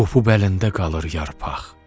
Qopup əlində qalır yarpaq.